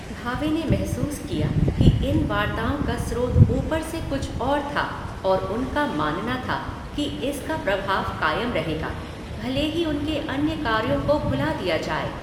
भावे ने महसूस किया कि इन वार्ताओं का स्रोत ऊपर से कुछ और था और उनका मानना था कि इसका प्रभाव कायम रहेगा, भले ही उनके अन्य कार्यों को भुला दिया जाए।